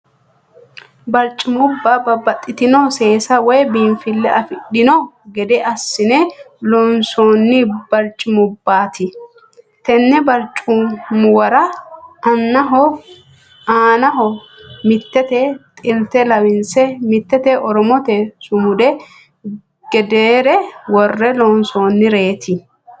Barcimubba babbaxitino seesa woy biinfile afidhanno gede assine loonsoonni barcimubbaati. Tenn barcimuwara aanaho mitete xilte lawinse mitete oromote sumudi gedeere worre loonsoonnireeti.